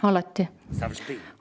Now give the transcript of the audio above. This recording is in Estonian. Alati!